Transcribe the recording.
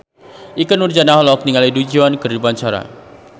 Ikke Nurjanah olohok ningali Du Juan keur diwawancara